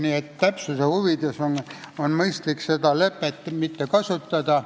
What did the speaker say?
Nii et täpsuse huvides on mõistlik "lepet" mitte kasutada.